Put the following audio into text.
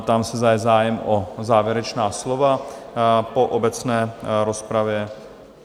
Ptám se, zda je zájem o závěrečná slova po obecné rozpravě?